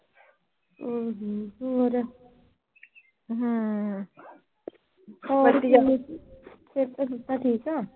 ਸਿਹਤਾਂ ਸੂਹਤਾਂ ਠੀਕ ਆ।